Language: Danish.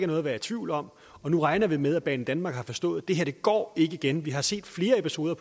noget at være i tvivl om nu regner vi med at banedanmark har forstået det her ikke går igen vi har set flere episoder